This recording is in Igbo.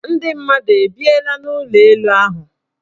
Ndị mmadụ ebiela n' ụlọelu ahụ?